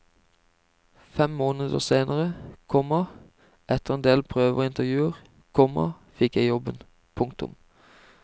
Fem måneder senere, komma etter en del prøver og intervjuer, komma fikk jeg jobben. punktum